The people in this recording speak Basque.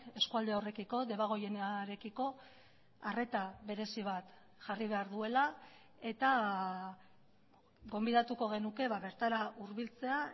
eskualde horrekiko debagoienarekiko arreta berezi bat jarri behar duela eta gonbidatuko genuke bertara hurbiltzea